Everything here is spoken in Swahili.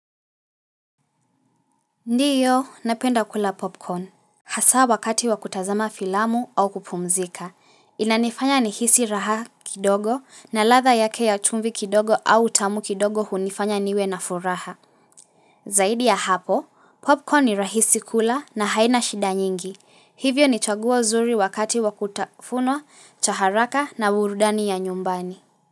Ndio, napenda kula popcorn. Hasa wakati wakutazama filamu au kupumzika. Inanifanya nihisi raha kidogo na ladha yake ya chumvi kidogo au utamu kidogo hunifanya niwe na furaha. Zaidi ya hapo, popcorn ni rahisi kula na haina shida nyingi. Hivyo nichaguo zuri wakati wakutafunwa, cha haraka na burudani ya nyumbani.